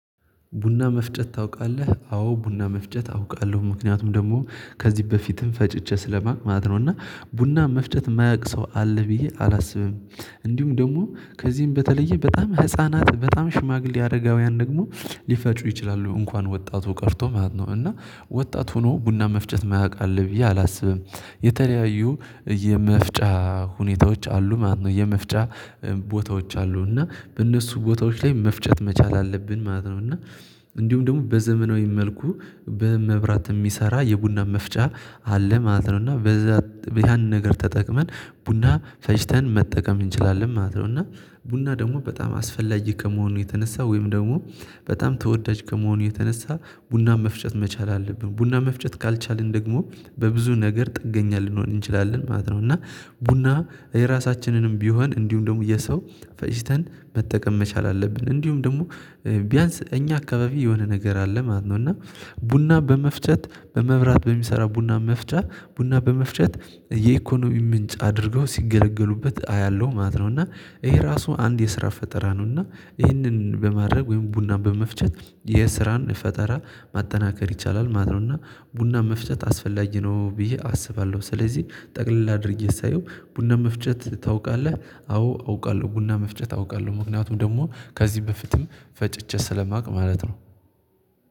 ቡና መፍጨት ታውቃለህ አዎ ቡና መፍጨት አውቃለሁ ምክንያቱም ደግሞ ከዚህ በፊትም ፈጭቼ ስለማቅ ማለት ነው እና ቡና መፍጨት ማያቅ ሰው አለ ብዬ አላስብም። እንዲሁም ደግሞ ከዚህም በተለየ በጣም ህፃናት በጣም ሽማግሌ አረጋውያን ደግሞ ሊፈጩ ይችላሉ እንኳን ወጣቱ ቀርቶ ማለት ነው። እና ወጣት ሆኖ ቡና መፍጨት ማያቅ አለ ብዬ አላስብም። የተለያዩ የመፍጫ ሁኔታዎች አሉ ማለት ነው። የመፍጫ ቦታዎች አሉ እና በእነሱ ቦታዎች ላይ መፍጨት መቻል አለብን ማለት ነው። እና እንዲሁም ደግሞ በዘመናዊ መልኩ በመብራት እሚሰራ የቡና መፍጫ አለ ማለት ነው። እና በዛ እሂያን ነገር ተጠቅመን ቡና ፈጭተን መጠቀም እንችላለን ማለት ነው። እና ቡና ደግሞ በጣም አስፈላጊ ከመሆኑ የተነሳ ወይም ደግሞ በጣም ተወዳጅ ከመሆኑ የተነሳ ቡና መፍጨት መቻል አለብን ቡና መፍጨት ካልቻልን ደግሞ በብዙ ነገር ጥገኛ ልንሆን እንችላለን ማለት ነው። እና ቡና የራሳችንንም ቢሆን እንዲሁም ደግሞ የሰው ፈጭተን መጠቀም መቻል አለብን። እንዲሁም ደግሞ ቢያንስ እኛ አካባቢ የሆነ ነገር አለ ማለት ነው። እና ቡና በመፍጨት በመብራት በሚሰራ ቡና መፍጨት ቡና በመፍጨት የኢኮኖሚ ምንጭ አድርገው ሲገለገሉበት አያለሁ ማለት ነው። እና ይሄ ራሱ አንድ የስራ ፈጠራ ነው። እና ይህንን በማድረግ ወይም ቡናን በመፍጨት የስራን ፈጠራ ማጠናከር ይቻላል ማለት ነው። እና ቡናን መፍጨት አስፈላጊ ነው ብዬ አስባለሁ። ስለዚህ ጠቅለል አድርጌ ሳየው ቡና መፍጨት ታውቃለህ? አዎ አውቃለሁ ቡና መፍጨት አውቃለሁ ምክንያቱም ደግሞ ከዚህ በፍትም ፈጭቼ ስለማውቅ ማለት ነው።